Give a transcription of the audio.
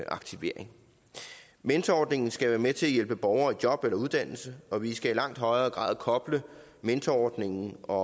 aktivering mentorordningen skal være med til at hjælpe borgere i job eller uddannelse og vi skal i langt højere grad koble mentorordningen og